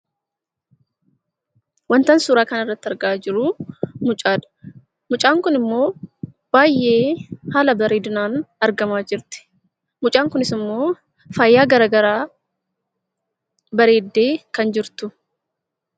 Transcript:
Wantan suuraa kana irratti argaa jiru mucaadha. Mucaan kun immoo baay'ee haala bareedinaan argamaa jirti. Mucaan kunis immoo faayaa garaa garaan bareeddee kan jirtu.